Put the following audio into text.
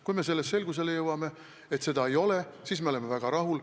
Kui me jõuame selgusele, et seda ei ole, siis me oleme väga rahul.